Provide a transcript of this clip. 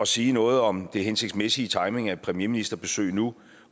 sige noget om det hensigtsmæssige i timingen af et premierministerbesøg nu